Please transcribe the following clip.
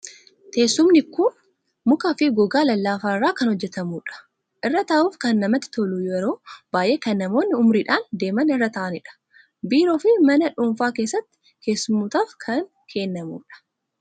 Teessumni kun mukaa fi gogaa lallaafaa irraa kan hojjetamudha. Irra taa'uuf kan namatti tolu, yeroo baay'ee kan namootni umuriidhaan deeman irra taa'anidha. Biiroo fi mana dhuunfaa keessatti keessummootaaf kan kennamudha.